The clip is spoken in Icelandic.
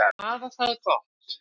Þær hafa það gott.